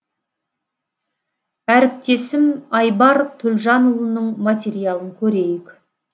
әріптесім айбар төлжанұлының материалын көрейік